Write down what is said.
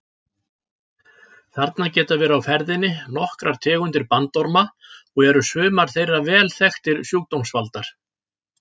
Þarna geta verið á ferðinni nokkrar tegundir bandorma og eru sumar þeirra vel þekktir sjúkdómsvaldar.